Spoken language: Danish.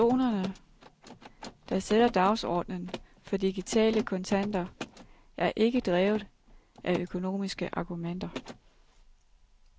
Personerne, der sætter dagsordnen for digitale kontanter, er ikke drevet af økonomiske argumenter.